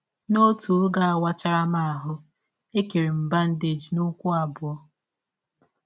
N’ọtụ ọge a wachara m ahụ́, e kere m bandeeji n’ụkwụ abụọ.